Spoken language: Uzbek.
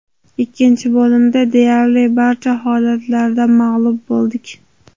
Ikkinchi bo‘limda deyarli barcha holatlarda mag‘lub bo‘ldik.